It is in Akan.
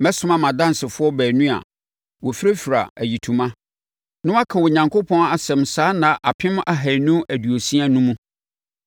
Mɛsoma mʼadansefoɔ baanu a wɔfirafira ayitoma, na wɔaka Onyankopɔn asɛm saa nna apem ahanu ne aduosia no mu.”